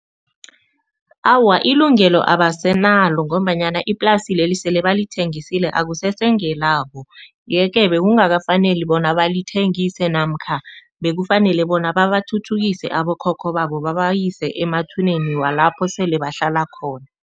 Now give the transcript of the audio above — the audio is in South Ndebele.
Awa, ilungelo abasenalo ngombanyana iplasi leli sele balithengisele akusese ngelabo yeke bekungakafaneli bona balithengise namkha bekafanele bona babathuthukise abokhokho babo, babayise emathuneni walapho sele bahlala khona.